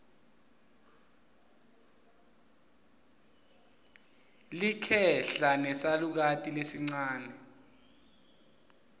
likhehla nesalukati lesincane